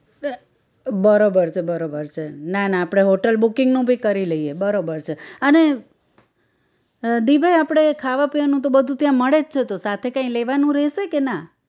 બરોબર છે બરોબર છે ના ના આપણે hotel booking નું ભી કરી લઈએ બરોબર છે અને દિભાઈ આપણે ખાવા પીવાનું તો બધું ત્યાં મળે જ છે તો સાથે કઈ લેવાનું રેહશે કે ના